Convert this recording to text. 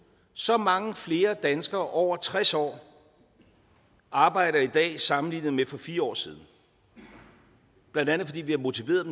så mange flere danskere over tres år arbejder i dag sammenlignet med for fire år siden blandt andet fordi vi har motiveret